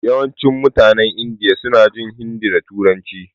Yawancin mutanen Indiya suna jin hindi da turanci.